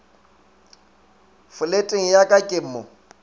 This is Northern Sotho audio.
foleteng ya ka ke mo